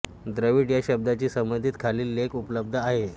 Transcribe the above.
द्रविड या शब्दाशी संबंधित खालील लेख उपलब्ध आहेत